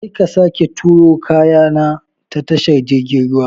Kar ka sake turo kaya na ta tashar jirgin ruwa!